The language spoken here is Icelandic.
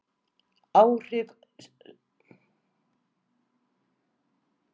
Áhrif sjóflóða og hækkaðrar sjávarstöðu í Hafnarfirði.